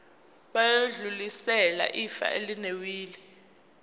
bayodlulisela ifa elinewili